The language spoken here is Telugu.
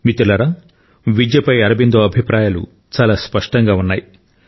మిత్రులారా విద్యపై అరబిందో అభిప్రాయాలు చాలా స్పష్టంగా ఉన్నాయి